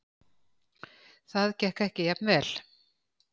Það gekk ekki jafn vel.